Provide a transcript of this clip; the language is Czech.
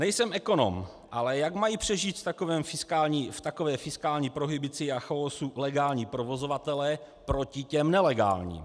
Nejsem ekonom, ale jak mají přežít v takové fiskální prohibici a chaosu legální provozovatelé proti těm nelegálním?